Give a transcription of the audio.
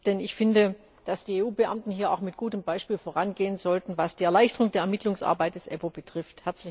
Denn ich finde, dass die EU Beamten hier auch mit gutem Beispiel vorangehen sollten, was die Erleichterung der Ermittlungsarbeit des EPPO betrifft.